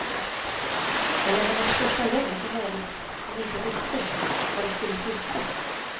Eller hennes första lögn i något hon inte visste var det skulle sluta.